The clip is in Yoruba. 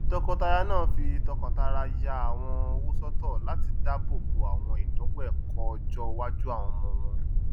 tọkọtaya náà fí tọkàntara ya àwọn owó sọtọ latí dábò bo àwọn ìnáwó ẹkọ ọjọ iwájú àwọn ọmọ wọn